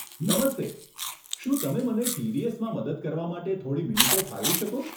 નમસ્તે, શું તમે મને ટીડીએસ માં મદદ કરવા માટે થોડી મિનિટો ફાળવી શકો?